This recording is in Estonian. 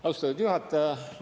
Austatud juhataja!